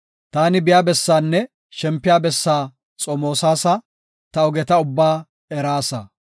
Taani biya bessaanne shempiya bessaa xomoosasa; ta ogeta ubbaa eraasa.